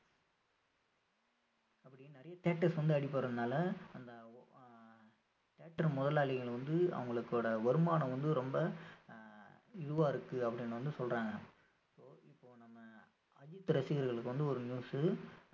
அப்படி நிறைய theatres வந்து அடிபடுறதுனால அந்த ஆஹ் theatre முதலாளிகள் வந்து அவங்களோட வருமானம் வந்து ரொம்ப ஆஹ் இதுவா இருக்கு அப்படின்னு வந்து சொல்றாங்க இப்போ இப்போ நம்ம அஜித் ரசிகர்களுக்கு வந்து ஒரு news